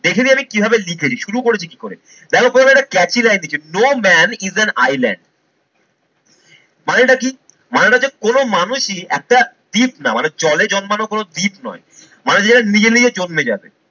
দেখে নিই আমি কিভাবে লিখেছি শুরু করেছি কি করে। দেখো প্রথমে একটা catchy line লিখেছি no man is an island মানেটা কি? মানেটা হচ্ছে কোনো মানুষই একটা দ্বীপ না মানে জলে জন্মানো কোনো দ্বীপ নয় মানে যারা নিজে নিজে জন্মে যাবে।